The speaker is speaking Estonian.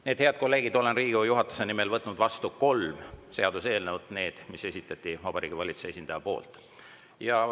Nii et, head kolleegid, olen Riigikogu juhatuse nimel võtnud vastu kolm seaduseelnõu, need, mis esitati Vabariigi Valitsuse esindaja poolt.